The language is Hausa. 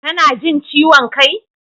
Kuna jin ciwon kai?